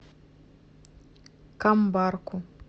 камбарку